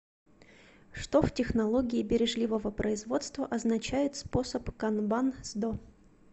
что в технологии бережливого производства означает способ канбан сдо